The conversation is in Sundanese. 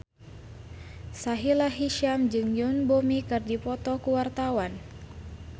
Sahila Hisyam jeung Yoon Bomi keur dipoto ku wartawan